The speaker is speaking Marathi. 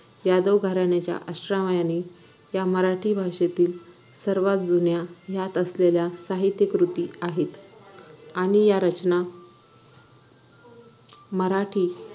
यादव घराण्याच्या अश्रव्याने या मराठी भाषेतील सर्वात जुन्या यात असलेल्या साहित्य कृती आहेत आणि या रचना मराठी